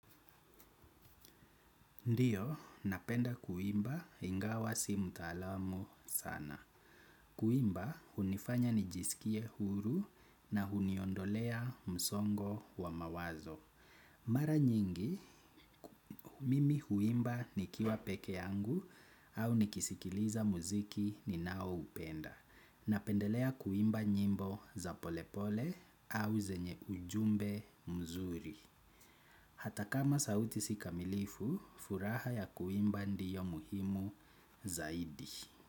Ndiyo, napenda kuimba ingawasi mutalamu sana. Kuimba, hunifanya nijisikie huru na huniondolea msongo wa mawazo. Mara nyingi, mimi huimba nikiwa peke yangu au nikisikiliza muziki ninao upenda. Napendelea kuimba nyimbo za polepole au zenye ujumbe mzuri. Hata kama sauti sika milifu, furaha ya kuimba ndiyo muhimu zaidi.